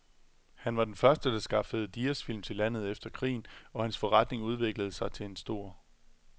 Han var den første, der skaffede diasfilm til landet efter krigen, og hans forretning udviklede sig til en stor